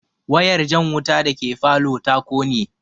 Wayar jan wuta dake falow ta kone